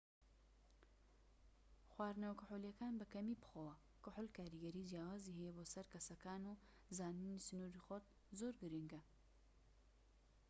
خواردنەوە کحولیەکان بە کەمی بخۆوە کحول کاریگەری جیاوازی هەیە بۆ سەر کەسەکان و زانینی سنوری خۆت زۆر گرنگە